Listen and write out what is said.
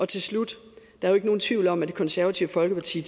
til slut der er ikke nogen tvivl om at det konservative folkeparti